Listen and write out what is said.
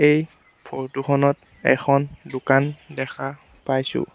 এই ফটো খনত এখন দোকান দেখা পাইছোঁ।